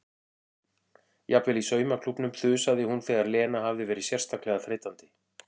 Jafnvel í saumaklúbbnum þusaði hún þegar Lena hafði verið sérstaklega þreytandi.